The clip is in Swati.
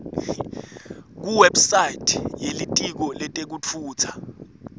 kuwebsite yelitiko letekutfutsa